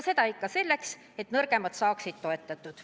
Seda on vaja selleks, et nõrgemad saaksid toetatud.